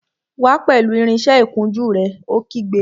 Wá pẹ̀lú irinsẹ́ ìkunjú rẹ̀! Ó kígbe